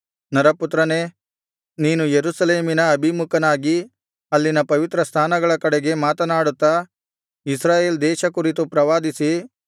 ನರಪುತ್ರನೇ ನೀನು ಯೆರೂಸಲೇಮಿನ ಅಭಿಮುಖನಾಗಿ ಅಲ್ಲಿನ ಪವಿತ್ರ ಸ್ಥಾನಗಳ ಕಡೆಗೆ ಮಾತನಾಡುತ್ತಾ ಇಸ್ರಾಯೇಲ್ ದೇಶ ಕುರಿತು ಪ್ರವಾದಿಸಿ